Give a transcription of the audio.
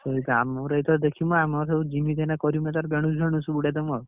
ଯେମିତି ହେଲେ କରିବୁ ।